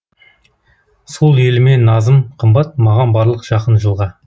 сол еліме назым қымбат маған барлық жақын жылға